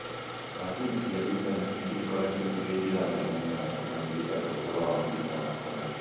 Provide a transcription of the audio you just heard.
Kambĩini cia Intaneti nĩ ikoretwo irĩ njĩra nene mũno ya kũmenyithia andũ ũhoro wa mũrimũ wa corona.